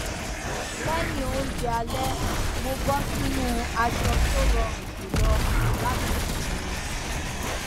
lẹyìn oúnjẹ alẹ mo bọ sínú aṣọ tó rọrùn jùlọ láti sinmi